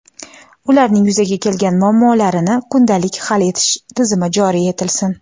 ularning yuzaga kelgan muammolarini kundalik hal etish tizimi joriy etilsin;.